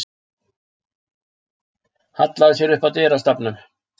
Hallaði sér upp að dyrastafnum.